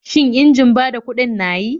Shin injin bada kuɗin na yi?